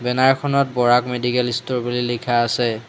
Banner খনত Barak medical store বুলি লিখা আছে।